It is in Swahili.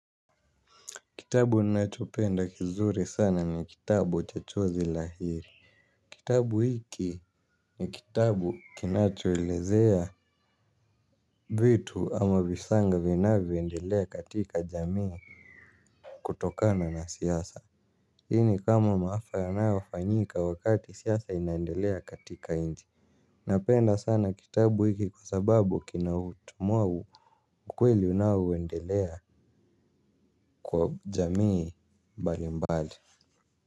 Kitabu ninachopenda kizuri sana ni kitabu cha chozi lahiri kitabu hiki ni kitabu kinachoelezea vitu ama visanga vinavyoendelea katika jamii kutokana na siasa. Hi ni kama maafa yanayofanyika wakati siasa inaendelea katika nchi napenda sana kitabu hiki kwa sababu kinautumwau ukweli unaoendelea kwa jamii mbali mbali.